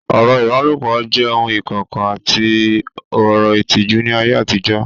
Ọ̀rọ̀ ìbálòpọ̀ jẹ́ ohun ìkọ̀kọ̀ àti ọ̀rọ̀ ìtìjú ní ayé àtijọ́